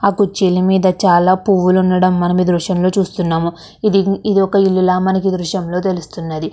ఆ కుర్చీల మీద చాల పూవులు ఉండడం మనం ఈ దృశ్యంలో చూస్తున్నాము. ఇది ఒక ఇలుల మనకి ఈ దృశ్యంలో తెలుస్తున్నది.